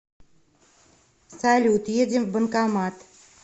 салют едем в банкомат